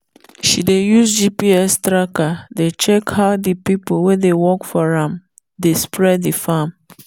she dey use gps tracker dey check how the people wey dey work for am dey spray the farm.